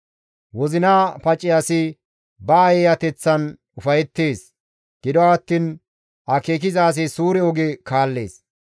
Wozina pace asi ba eeyateththan ufayettees; gido attiin akeeki suure oge kaallees.